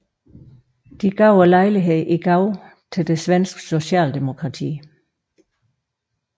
De gav lejligheden i gave til det svenske socialdemokrati